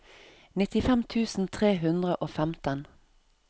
nittifem tusen tre hundre og femten